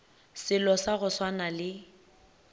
selo sa go swana le